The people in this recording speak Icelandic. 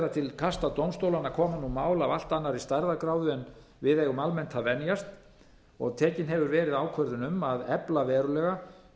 er að til kasta dómstólanna koma nú mál af allt annarri stærðargráðu en við eigum almennt að venjast og tekin hefur verið ákvörðun um að efla verulega